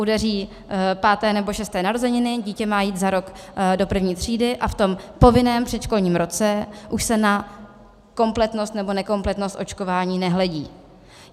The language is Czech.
Udeří páté nebo šesté narozeniny, dítě má jít za rok do první třídy, a v tom povinném předškolním roce už se na kompletnost nebo nekompletnost očkování nehledí.